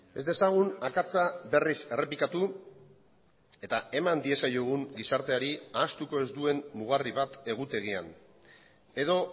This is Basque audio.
ez dezagun akatsa berriz errepikatu eta eman diezaiogun gizarteari ahaztuko ez duen mugarri bat egutegian edo